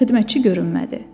Xidmətçi görünmədi.